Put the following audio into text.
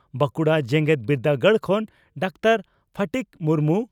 ᱵᱟᱺᱠᱩᱲᱟ ᱡᱮᱜᱮᱛ ᱵᱤᱨᱫᱟᱹᱜᱟᱲ ᱠᱷᱚᱱ ᱰᱟᱠᱛᱟᱨ ᱯᱷᱚᱴᱤᱠ ᱢᱩᱨᱢᱩ